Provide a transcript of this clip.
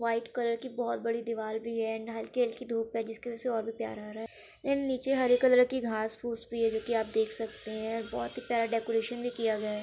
White colour की बहुत बड़ी दीवाल भी है एंड हल्की हल्की धूप है जिसकी वजह से और भी प्यारा आ रहा है एंड नीचे हरे कलर की घास फूस भी है जो की आप देख सकते हैं बहुत ही प्यारा डेकोरेशन भी किया गया है।